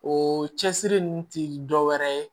O cɛsiri ninnu tɛ dɔ wɛrɛ ye